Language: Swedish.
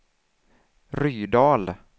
Rydal